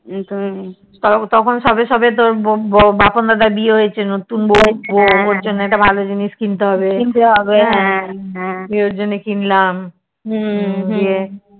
তখন সবে সবে তোর বপন দাদার বিয়ে হয়েছে নতুন বৌ ওর জন্যে একটা ভালো জিনিস কিনবো হা তাই ওর জন্যে কিনল দিয়ে